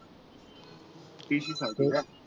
TC साठी का?